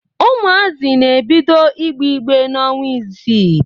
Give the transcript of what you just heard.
Ụmụazị na ebido ịgbe ịgbe n'ọnwa isii